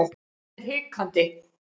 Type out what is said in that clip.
Hann er hikandi.